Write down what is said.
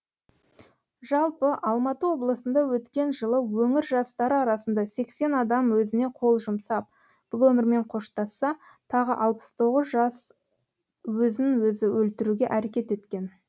жалпы алматы облысында өткен жылы өңір жастары арасында сексен адам өзіне қол жұмсап бұл өмірмен қоштасса тағы алпыс тоғыз жас өзін өзі өлтіруге әрекет еткен